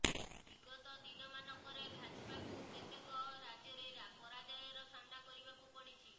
ବିଗତ ଦିନମାନଙ୍କରେ ଭାଜପାକୁ କେତେକ ରାଜ୍ୟରେ ପରାଜୟର ସାମ୍ନା କରିବାକୁ ପଡ଼ିଛି